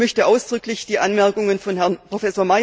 Ich möchte ausdrücklich die Anmerkungen von Herrn Prof.